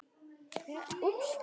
En Sveinn